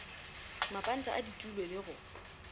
mapanta a ditulo le go